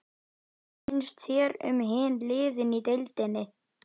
Hvað finnst þér um hin liðin í deildinni?